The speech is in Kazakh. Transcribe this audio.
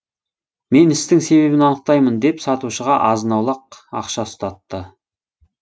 мен істің себебін анықтаймын деп сатушыға азын аулақ ақша ұстатты